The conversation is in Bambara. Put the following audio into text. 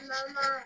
Balima